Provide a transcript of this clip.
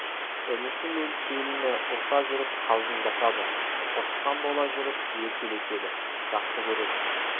інісі мен келініне ұрса жүріп қалжыңдасады ұрысқан бола жүріп еркелетеді жақсы көреді